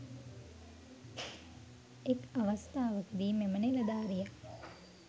එක්‌ අවස්‌ථාවකදී මෙම නිලධාරියා